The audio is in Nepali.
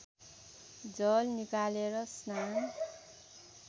जल निकालेर स्नान